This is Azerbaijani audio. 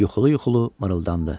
Yuxulu-yuxulu mırıldandı.